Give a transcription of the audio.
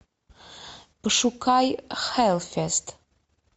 пошукай хэллфест